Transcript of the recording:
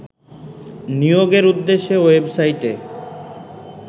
নিয়োগের উদ্দেশ্যে ওয়েবসাইটে